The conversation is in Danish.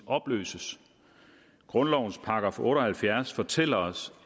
opløses grundlovens § otte og halvfjerds fortæller os